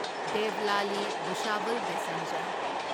Devlali Bhusawal passenger